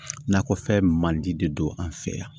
Nakɔfɛn mandi de don an fɛ yan